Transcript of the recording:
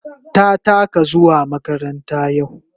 Ta taka zuwa makaranta yau.